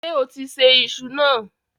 Ṣé o ti sè iṣu náà?